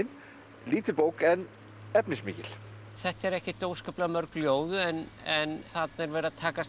lítil bók en efnismikil þetta eru ekkert óskaplega mörg ljóð en en þarna er verið að takast á